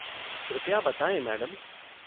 कृपया बताएँ मैडम।